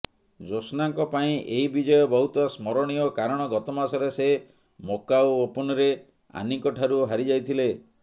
ଜୋଶ୍ନାଙ୍କ ପାଇଁ ଏହି ବିଜୟ ବହୁତ ସ୍ମରଣୀୟ କାରଣ ଗତମାସରେ ସେ ମକାଉ ଓପନରେ ଆନିଙ୍କଠାରୁ ହାରିଯାଇଥିଲେ